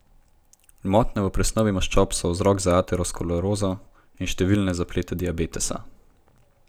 Motnje v presnovi maščob so vzrok za aterosklerozo in številne zaplete diabetesa.